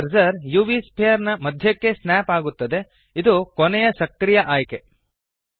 3ದ್ cursor UV sphere ನ ಮಧ್ಯಕ್ಕೆ ಸ್ನ್ಯಾಪ್ ಆಗುತ್ತದೆ ಇದು ಕೊನೆಯ ಸಕ್ರಿಯ ಆಯ್ಕೆ